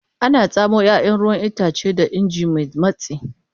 Ana tsamo ruwan 'ya'yan itace da ingin mai matsi.